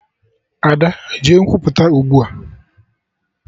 Ada! Jee Nkwupụta ugbua!